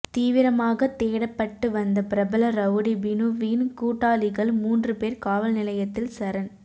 தீவிரமாகத் தேடப்பட்டு வந்த பிரபல ரவுடி பினுவின் கூட்டாளிகள் மூன்று பேர் காவல்நிலையத்தில் சரண்